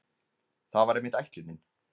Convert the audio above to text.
Það var einmitt ætlunin.